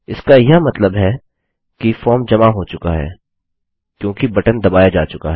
इसका यह मतलब है कि फॉर्म जमा हो चुका है क्योंकि बटन दबाया जा चुका है